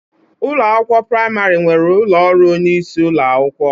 Ụlọ akwụkwọ praimari nwere ụlọ ọrụ onyeisi ụlọakwụkwọ.